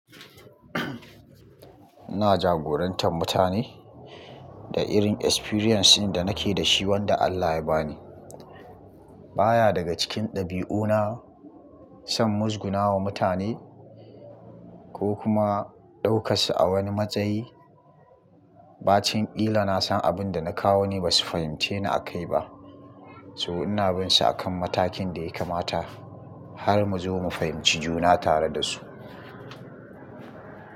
Ina jagorantar mutane da irin experience da nake da shi wanda Allah ya ba ni. Ba ya daga cikin ɗabi'una son musgunawa mutane ko kuma ɗaukas su a wani matsayi. Ba cinƙila na san abin da na kawo ne ba su fahimci ni a kai ba. To ina bin su a kan matakin da ya kamata har mu zo mu fahimci juna tare da su.